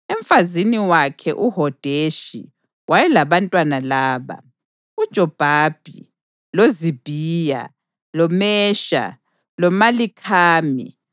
Emfazini wakhe uHodeshi wayelabantwana laba: uJobhabhi, loZibhiya, loMesha, loMalikhami,